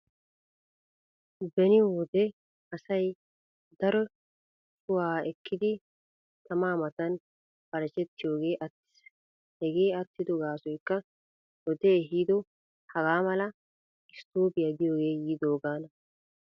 Beni wode asay daro cuwa ekkiiddi tamaa matan barchchetiyogee attiis. Hegee attido gaasoykka wodee ehiido hagaa mala isttoobiya giyogee yiidoogaana.